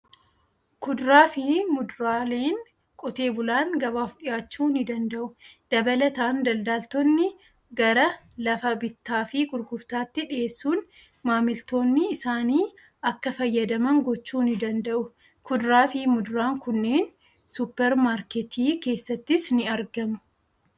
Kuduraa fi muduraaleen qotee bulaan gabaaf dhiyaachuu ni danda'u. Dabalataan, daldaltoonni gara lafa bittaa fi gurgurtaatti dhiyeessuun maamiltoonni isaanii akka fayyadaman gochuu ni danda'u. Kuduraa fi muduraan kunneen suupper maarketii keessattis ni argamu.